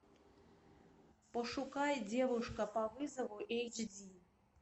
пошукай девушка по вызову эйч ди